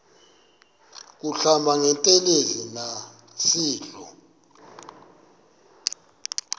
kuhlamba ngantelezi nasidlo